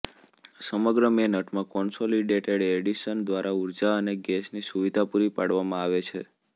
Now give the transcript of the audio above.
સમગ્ર મેનહટનમાં Consolidated Edison દ્વારા ઉર્જા અને ગેસની સુવિધા પૂરી પાડવામાં આવે છે